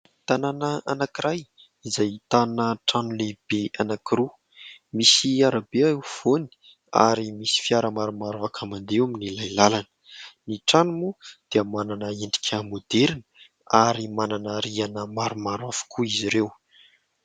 Tanàna anankiray izay ahitana trano lehibe anankiroa, misy arabe eo afovoany ary misy fiara maromaro afaka mandeha amin'ilay lalana. Ny trano moa dia manana endrika môderina ary manana rihana maromaro avokoa izy ireo.